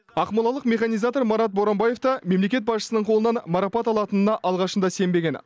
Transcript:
ақмолалық механизатор марат боранбаев та мемлекет басшысының қолынан марапат алатынына алғашында сенбеген